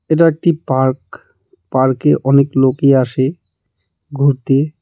এটা একটি পার্ক পার্কে অনেক লোকই আসে ঘুরতে.